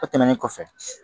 O tɛmɛnen kɔfɛ